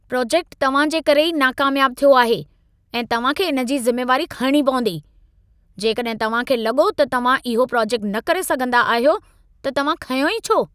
Project तव्हां जे करे ई नाकामयाब थियो आहे ऐं तव्हां खे इन जी ज़िमेवारी खणिणी पवंदी। जेकॾहिं तव्हां खे लॻो त तव्हां इहो प्रोजेक्ट न करे सघंदा आहियो, त तव्हां खंयो ई छो?